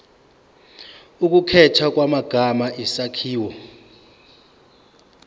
ukukhethwa kwamagama isakhiwo